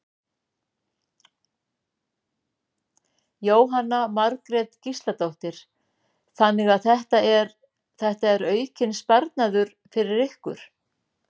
Jóhanna Margrét Gísladóttir: Þannig að þetta er, þetta er aukinn sparnaður fyrir ykkur?